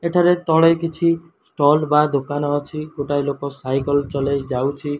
ଏଠାରେ ତଳେ କିଛି ଷ୍ଟଲ୍ ବା ଦୋକାନ ଅଛି। ଗୋଟାଏ ଲୋକ ସାଇକେଲ୍ ଚଲେଇଯାଉଛି।